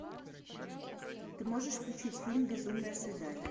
ты можешь включить фильм безумное свидание